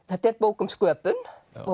þetta er bók um sköpun